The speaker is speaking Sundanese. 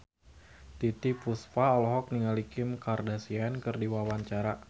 Titiek Puspa olohok ningali Kim Kardashian keur diwawancara